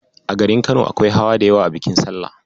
A garin Kano, akwai hawa da yawa a bikin salla.